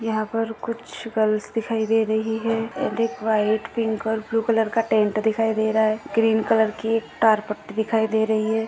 यहाँ पर कुछ गर्ल्स दिखाई दे रही है एक व्हाइट पिंक और ब्लु कलर का टेंट दिखाई दे रहा है ग्रीन कलर की तारपट्टी दिखाई दे रही है।